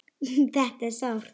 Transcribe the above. Þetta er sárt.